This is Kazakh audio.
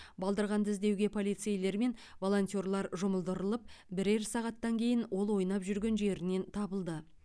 балдырғанды іздеуге полицейлер мен волонтерлар жұмылдырылып бірер сағаттан кейін ол ойнап жүрген жерінен табылды